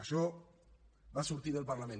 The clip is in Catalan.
això va sortir del parlament